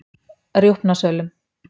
Rjúpnasölum